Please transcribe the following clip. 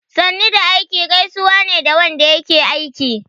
"Sannu da aiki" gaisuwa ne ga wanda yake aiki.